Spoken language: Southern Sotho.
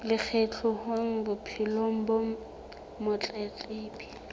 le kgahleho bophelong ba motletlebi